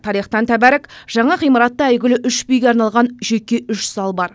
тарихтан тәбәрік жаңа ғимаратта әйгілі үш биге арналған жеке үш зал бар